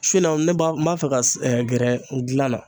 Su in na ne b'a n b'a fɛ ka s gɛrɛ gilan na